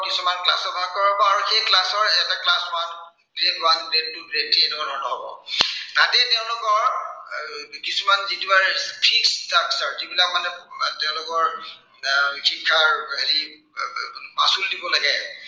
grade one, grade two, grade three এনেকুৱা ধৰনৰ হব। তাতেই তেওঁলোকৰ কিছুমান যিটো মানে fixed structure আছে যিবিলাক মানে তেওঁলোকৰ এৰ শিক্ষাৰ হেৰি এৰ মাচুল দিব লাগে।